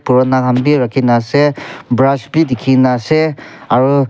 purana khan bi rakhikena ase brush bi dekhikena ase aro.